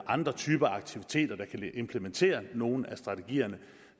andre typer aktiviteter der kan implementere nogle af strategierne